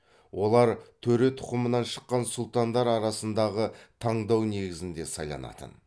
олар төре тұқымынан шыққан сұлтандар арасындағы таңдау негізінде сайланатын